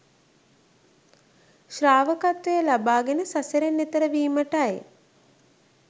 ශ්‍රාවකත්වය ලබාගෙන සසරෙන් එතෙර වීමටයි.